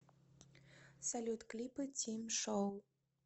салют клипы тим шоу